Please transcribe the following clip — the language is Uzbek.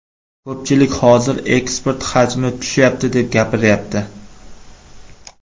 Ko‘pchilik hozir eksport hajmi tushyapti, deb gapiryapti.